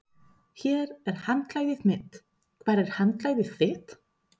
Hér er handklæðið mitt. Hvar er handklæðið þitt?